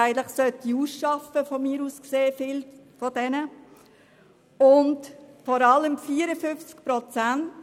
Viele davon sollte man aus meiner Sicht eigentlich ausschaffen.